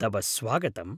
तव स्वागतम्।